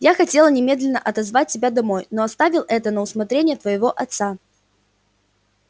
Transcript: я хотела немедленно отозвать тебя домой но оставил это на усмотрение твоего отца